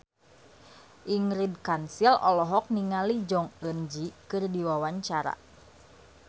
Ingrid Kansil olohok ningali Jong Eun Ji keur diwawancara